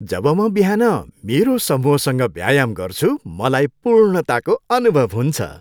जब म बिहान मेरो समूहसँग व्यायाम गर्छु मलाई पूर्णताको अनुभव हुन्छ।